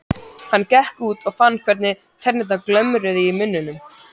Hann gekk út og fann hvernig tennurnar glömruðu í munninum.